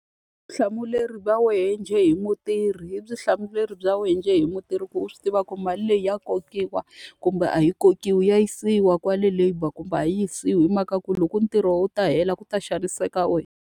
Vutihlamuleri va wehe njhe hi mutirhi i vutihlamuleri bya wena njhe hi mutirhi ku u swi tiva ku mali leyi ya kokiwa kumbe a yi kokiwi. Ya yisiwa kwale labour kumbe a yi yisiwi. Hi mhaka ku loko ntirho wu ta hela ku ta xaniseka wena.